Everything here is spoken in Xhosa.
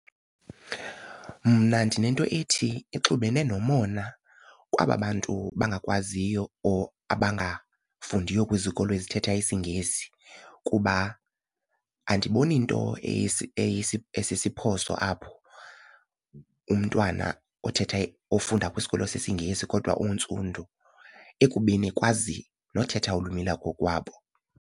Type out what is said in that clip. Mna ndinento ethi ixubene nomona kwaba bantu bangakwaziyo or abangafundiyo kwizikolo ezithetha isiNgesi kuba andiboni nto esisiphoso apho umntwana othetha ofunda kwisikolo sesiNgesi kodwa untsundu ekubeni ekwazi nothetha ulwimi lwakokwabo.